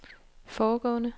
foregående